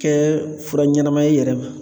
Kɛ fura ɲɛnama ye i yɛrɛ ma